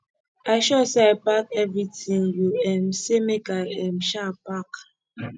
i sure say i pack everything you um say make i um um pack